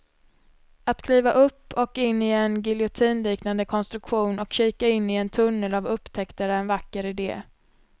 Att kliva upp och in i en giljotinliknande konstruktion och kika in i en tunnel av upptäckter är en vacker idé.